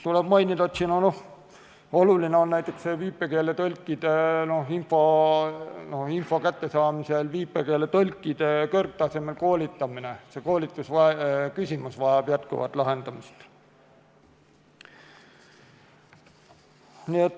Tuleb mainida, et oluline on info kättesaamisel näiteks viipekeeletõlkide kõrgtasemel koolitamine, see vajab jätkuvat lahendamist.